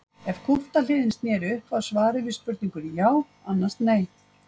Ef kúpta hliðin sneri upp var svarið við spurningunni já annars nei.